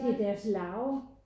Der er deres larve